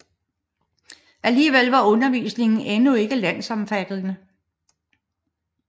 Alligevel var undervisningen endnu ikke landsomfattende